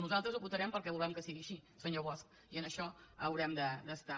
nosaltres ho votarem perquè volem que sigui així senyor bosch i en això haurem d’estar